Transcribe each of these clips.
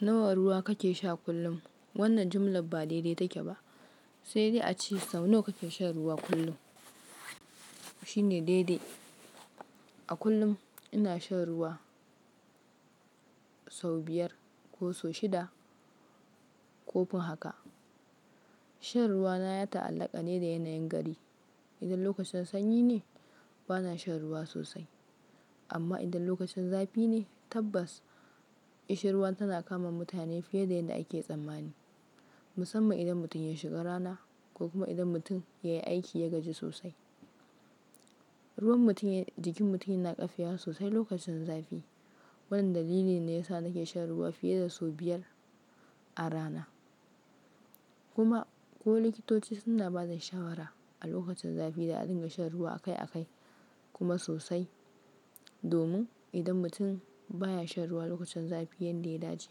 Nawa ruwa kake sha kullum? Wannan jumla ba dai-dai take ba, sai dai a ce sau nawa kake shan ruwa kullum? Shi ne dai-dai. A kullum ina shan ruwa sau biyar ko sau shida ko kuma haka. Shan ruwa na ya ta'allaka ne da yanayin gari. Idan lokacin sanyi ne, bana shan ruwa sosai, amma idan lokacin zafi ne, tabbas kishi ruwan tana kama mutane fiye da yadda ake tsammani. Musamman idan mutum ya shiga rana ko kuma idan mutum ya yi aiki ya gaji sosai. Ruwan mutum, jikin mutum yana ƙafiwa sosai lokacin zafi. Wannan dalili ne yasa nake shan ruwa fiye da sau biyar a rana. Kuma ko likitoci suna ba da shawara a lokacin zafi da a dinga shan ruwa akai akai kuma sosai. Domin idan mutum baya shan ruwa lokacin zafi yanda ya dace,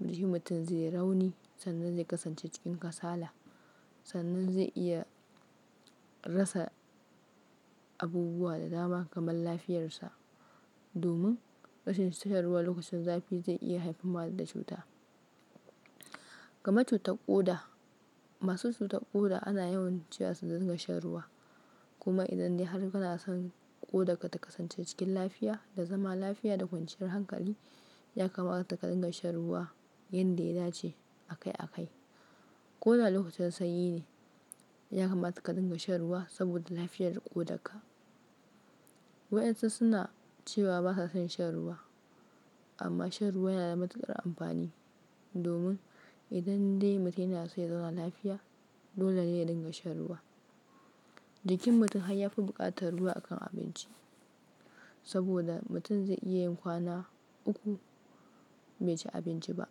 jikin mutum zai rauni sannan zai kasance cikin kasala, sannan zai iya rasa abubuwa da dama kamar lafiyarsa. Domin rashin shan ruwa lokacin zafi zai iya haifarwa da cuta, kamar cutar ƙoda. Masu cutar ƙoda ana yawan cewa su dinga shan ruwa. Kuma idan dai har kana son ƙoda ka ta kasance cikin lafiya da zama lafiya da kwanciyar hankali, ya kamata ka dinga shan ruwa yanda ya dace akai akai. Ƙoda a lokacin sanyi ne, ya kamata ka dinga shan ruwa saboda lafiyar ƙodarka. Wayansu suna cewa ba sa son shan ruwa, amma shan ruwa yana da matuƙar amfani. Domin idan dai mutum yana so ya tsaya lafiya, dole ne ya dinga shan ruwa. Jikin mutum har ya fi buƙatar ruwa akan abinci, saboda mutum zai iya yin kwana uku bai ci abinci ba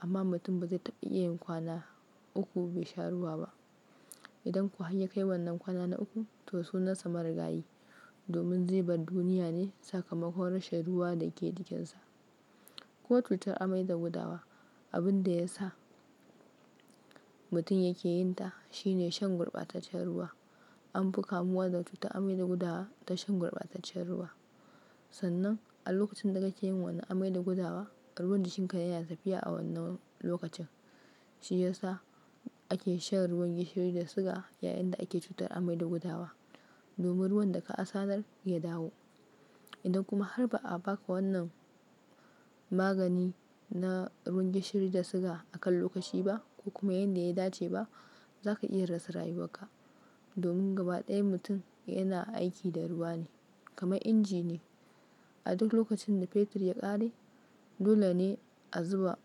amma mutum ba zai iya yin kwana uku bai sha ruwa ba. Idan ko har ya kai wannan kwana na uku, to sunansa marigayi. Domin zai bar duniya ne sakamakon rashin ruwa da ke jikinsa. Ko cutar amai da gudawa, abin da ya sa mutum yake yinta shine shan gurɓataccen ruwa. An fi kamuwa da cutar amai da gudawa ta shan gurɓataccen ruwa. Sannan a lokacin da kake yi wa wannan amai da gudawa, ruwan jikinka yana tafiya a wannan lokacin. Kuma idan dai har kana son ƙoda ka ta kasance cikin lafiya da zama lafiya da kwanciyar hankali, ya kamata ka dinga shan ruwa yanda ya dace akai akai. Magani na ruwan gishiri da siga a kan lokaci ba ko kuma yanda ya dace ba, za ka iya rasa rayuwarka. Ƙoda alokacin sanyi ne, ya kamata ka dinga shan ruwa saboda lafiyar ƙodarka. A duk lokacin da fetur ya ƙare, dole ne a zuba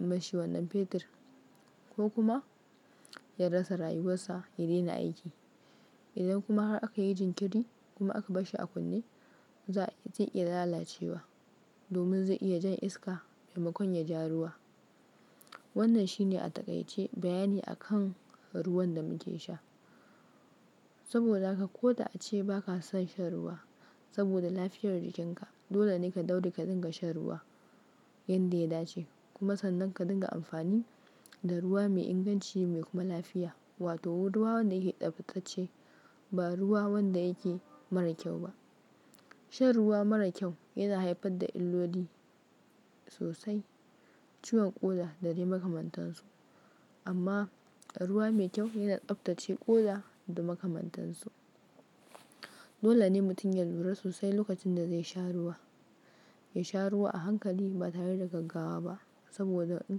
mashi wannan fetur ko kuma ya rasa rayuwarsa ya daina aiki. Waɗansu na cewa ba sa son shan ruwa, amma shan ruwa yana da matuƙar amfani. Domin idan dai mutum yana so ya tsaya lafiya, dole ne ya dinga shan ruwa. Jikin mutum har ya fi buƙatar ruwa akan abinci, saboda mutum zai iya yin kwana uku bai ci abinci ba amma mutum ba zai iya yin kwana uku bai sha ruwa ba. Kuma sannan ka dinga amfani da ruwa mai inganci mai kuma lafiya. Idan kuwa har ya kai wannan kwana na uku, to sunansa mari gayi. Ko cutar amai da gudawa, abin da ya sa mutum yake yinta shine shan gurɓataccen ruwa. An fi kamuwa da cutar amai da gudawa ta shan gurɓataccen ruwa. Ya sha ruwa a hankali ba tare da gaggawa ba. Sannan a lokacin da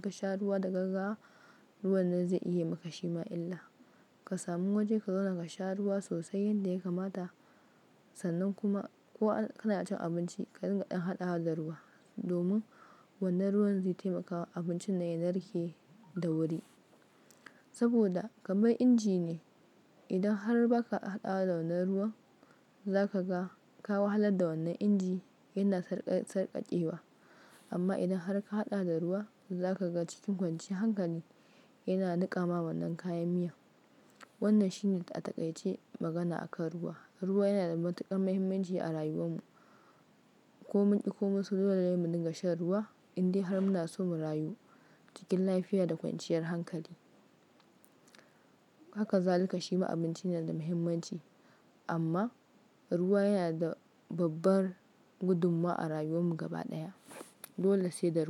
kake yi wa wannan amai da gudawa, ruwan jikinka yana tafiya a wannan lokacin. Ka sami waje ka zauna ka sha ruwa sosai yanda ya kamata. Sannan kuma ko kana cin abinci ka dinga ɗin haɗawa da ruwa, domin wannan ruwan zai taimakawa abincin nan ya narke da wuri. Saboda kamar inji ne, idan har ba ka haɗawa da wannan ruwan, za ka ga kawa hallan da wannan inji yana sarƙaƙe wa. Amma idan har ka haɗa da ruwa, za ka ga cikin kwancin hankali yana niƙamawa wannan kayan miya. Wannan shi ne a taƙaice magana akan ruwa. Ruwa yana da matuƙar muhimmanci a rayuwar mu. Ko mun ƙi ko mun so, dole ne mu dinga shan ruwa indai har muna so mu rayu cikin lafiya da kwanciyar hankali. Haka za like shima abinci yana da muhimmanci amma ruwa yana da babbar gudummawa a rayuwar mu gaba ɗaya. Dole sai da ruwa.